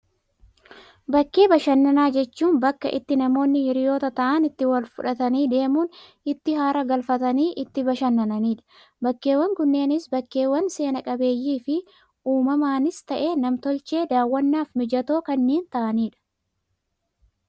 Bakkee bashannanaa jechuun, bakka itti namoonni hiriyoota ta'an itti wal fudhatanii deemuun, itti haara galfatan, itti bashannananidha. Bakkeewwan kunneenis bakkeewwan seena qabeeyyii fi uumamaanis ta'ee, nam tolcheen daawwannaaf mijatoo kanneen ta'anidha.